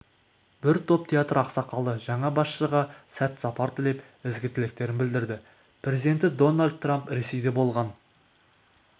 бір топ театр ақсақалы жаңа басшыға сәт-сапар тілеп ізгі тілектерін білдірді президенті дональд трамп ресейде болған